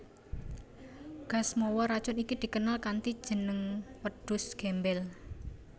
Gas mawa racun iki dikenal kanthi jeneng Wedhus Gembel